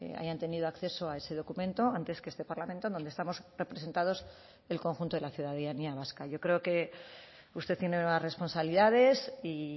hayan tenido acceso a ese documento antes que este parlamento donde estamos representados el conjunto de la ciudadanía vasca yo creo que usted tiene nuevas responsabilidades y